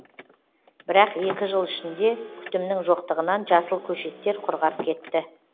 бірақ екі жыл ішінде күтімнің жоқтығынан жасыл көшеттер құрғап кетті